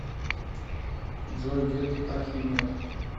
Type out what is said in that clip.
джой дед архимед